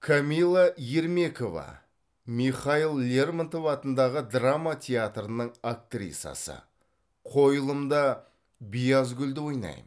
камила ермекова михаил лермонтов атындағы драма театрының актрисасы қойылымда биязгүлді ойнаймын